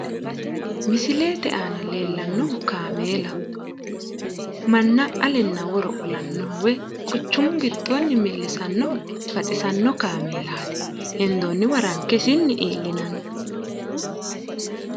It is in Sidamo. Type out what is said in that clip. misilete aana leellanohu kaameelaho. manna alenna woro qolannoho woyi quchumu gidoonni millisannoho baxisanno kaameelaati. hendoonniwa ranke isinni iillinani.